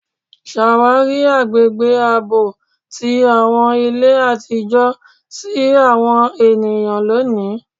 Ṣawari agbegbe aabọ ti awọn ile atijọ ti awọn eniyan loni